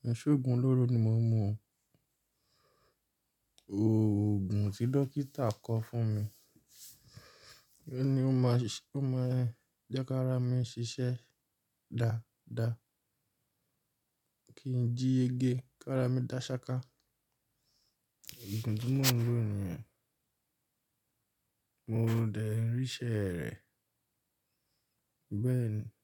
Ki ṣóògùn olóró ni mo ń mu. Òògùn tí dókítà kọ fún mi. Ó ní ó máa ṣiṣẹ́, ó máa jẹ́ kí ara mi ṣiṣẹ́ dáadáa. Kí n jí yege kí ara mi dá ṣáká. Òògùn tí mo ń lò nìyẹn. Mo n dẹ̀ rí ìṣẹ́ rẹ̀. Bẹ́ẹ̀ni.